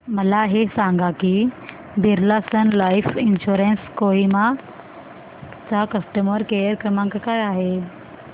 मला हे सांग की Birla sun life insurance Kohima चा कस्टमर केअर क्रमांक काय आहे